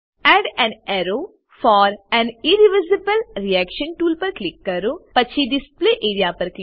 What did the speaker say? add an arrow for an irreversible reaction tool પર click કરો પછી ડિસ્પ્લે એઆરઇએ